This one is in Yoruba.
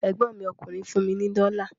Ẹ̀gbọ́n mi ọkùnrin fún mi ní dọ́la